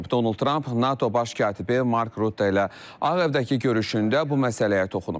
Donald Tramp NATO baş katibi Mark Rutte ilə Ağ Evdəki görüşündə bu məsələyə toxunub.